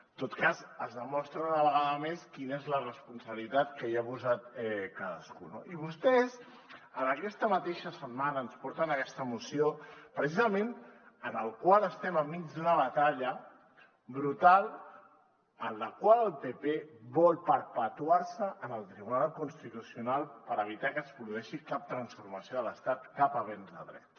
en tot cas es demostra una vegada més quina és la responsabilitat que hi ha posat cadascú no i vostès aquesta mateixa setmana ens porten aquesta moció precisament en la qual estem enmig d’una batalla brutal en la qual el pp vol perpetuar se en el tribunal constitucional per evitar que es produeixi cap transformació de l’estat cap avenç de dret